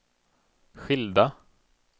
skilda